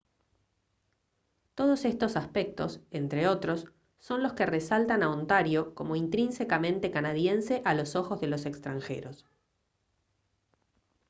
todos estos aspectos entre otros son los que resaltan a ontario como intrínsecamente canadiense a los ojos de los extranjeros